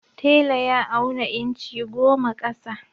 Tela ya auna inci goma ƙasa.